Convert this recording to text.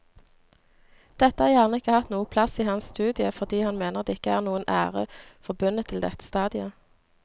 Dette har gjerne ikke hatt noen plass i hans studie fordi han mener det ikke er noen ære forbundet til dette stadiet.